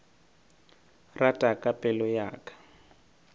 rata ka pelo ya ka